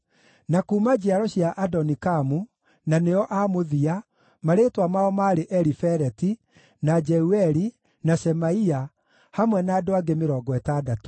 na kuuma njiaro cia Adonikamu, na nĩo a mũthia, marĩĩtwa mao maarĩ Elifeleti, na Jeueli, na Shemaia, hamwe na andũ angĩ 60;